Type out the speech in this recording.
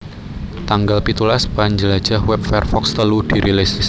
Tanggal pitulas Panjlajah wèb Firefox telu dirilis